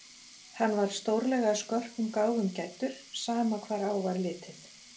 Hann var stórlega skörpum gáfum gæddur, sama hvar á var litið.